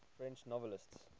french novelists